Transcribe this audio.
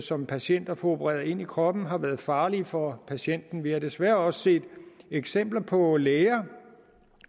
som patienter får opereret ind i kroppen har været farlige for patienten vi har desværre også set eksempler på læger